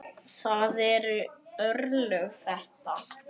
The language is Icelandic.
Það eru örlög þetta!